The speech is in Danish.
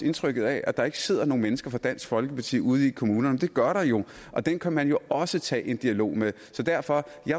indtryk af at der ikke sidder nogen mennesker fra dansk folkeparti ude i kommunerne men det gør der jo og dem kan man også tage en dialog med så derfor